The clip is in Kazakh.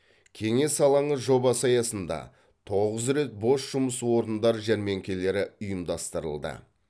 кеңес алаңы жобасы аясында тоғыз рет бос жұмыс орындар жәрмеңкелері ұйымдастырылды